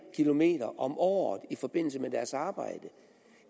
eller mere om året i forbindelse med deres arbejde